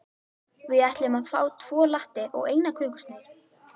Við ætlum að fá tvo latte og eina kökusneið.